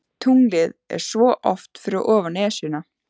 Tunglið er svo oft fyrir ofan Esjuna.